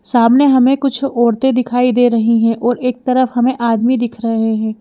सामने हमें कुछ औरतें दिखाई दे रही हैं और एक तरफ हमें आदमी दिख रहे हैं।